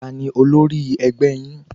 Ta ni olórí ẹgbẹ́ yín?